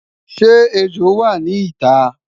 shey ẹjọ wà nì ita?